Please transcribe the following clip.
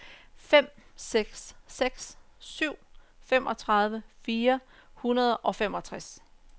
fem seks seks syv femogtredive fire hundrede og femogtres